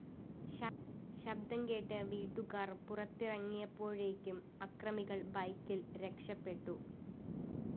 ശബ്ദം കേട്ട് വീട്ടുകാര്‍ പുറത്തിറങ്ങിയപ്പോഴേക്കും അക്രമികള്‍ ബൈക്കില്‍ രക്ഷപ്പെട്ടു